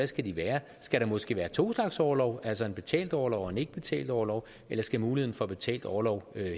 skal være skal der måske være to slags orlov altså en betalt orlov og en ikkebetalt orlov eller skal muligheden for betalt orlov